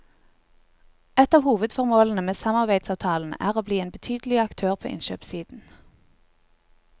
Ett av hovedformålene med samarbeidsavtalen er å bli en betydelig aktør på innkjøpssiden.